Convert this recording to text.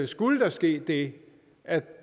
skulle der ske det at